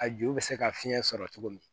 A ju bɛ se ka fiɲɛ sɔrɔ cogo min